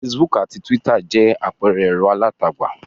Facebook àti Twitter jẹ́ àpẹẹrẹ ẹ̀rọ alátagbà.